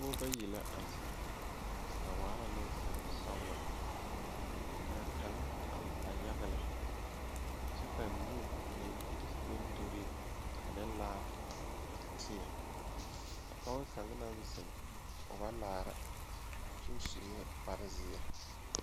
Nobɔ bayi la a zeŋ a waa neŋsalesɔglɔ kaa kaŋ a la yaga lɛ kyɛ ka nu meŋ de bondirii ane laa teɛ a pɔɔ kaŋ naŋ zeŋ o ba laara kyoo suee kparezeɛ.